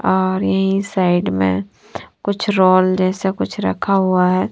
और यही साइड में कुछ रोल जैसा कुछ रखा हुआ है।